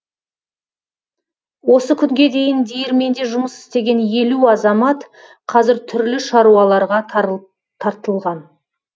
осы күнге дейін диірменде жұмыс істеген елу азамат қазір түрлі шаруаларға тартылған